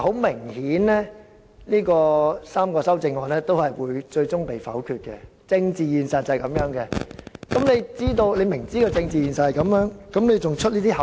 明顯地，這3組修正案最終會被否決，因為這是政治現實，但局長為何明知這個政治現實仍要"出口術"？